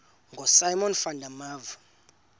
ngosimon van der